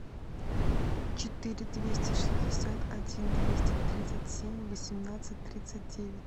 четыре двести шестьдесят один двести тридцать семь восемнадцать тридцать девять